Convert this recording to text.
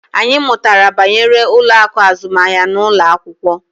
Anyị mụtara banyere ụlọ akụ azụmahịa n'ụlọ akwụkwọ